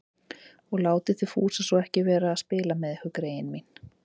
Og látið þið Fúsa svo ekki vera að spila með ykkur, greyin mín